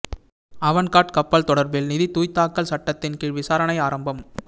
Avangard கப்பல் தொடர்பில் நிதி தூய்தாக்கல் சட்டத்தின் கீழ் விசாரணை ஆரம்பம்